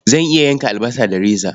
Zan iya yanka albasa da reza.